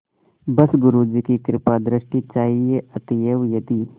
बस गुरु जी की कृपादृष्टि चाहिए अतएव यदि